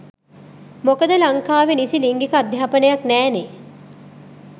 මොකද ලංකාවෙ නිසි ලිංගික අධ්‍යාපනයක් නෑනේ.